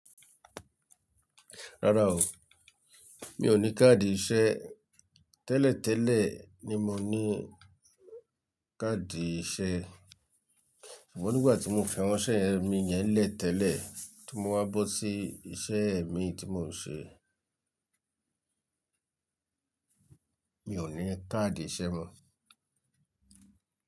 Rárá o, mi ò ní káàdì iṣẹ́. Tẹ́lẹ̀ tẹ́lẹ̀ ni mo ní káàdì iṣẹ́, ṣùgbọ́n nígbà tí mo fi àwọn iṣẹ́ yen mi yẹn lẹ́ tẹ́lẹ̀ tí mo wá bọ́ sí iṣẹ́ mi tí mò ń ṣe, mi ò ní káàdì iṣẹ́ mọ́.